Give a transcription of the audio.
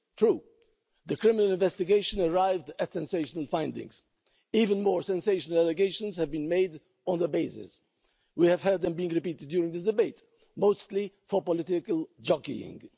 True, the criminal investigation arrived at sensational findings, even more sensational allegations have been made on that basis. We have heard them being repeated during this debate, mostly for political jockeying.